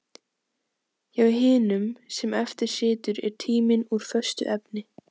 Hjá hinum sem eftir situr er tíminn úr föstu efni.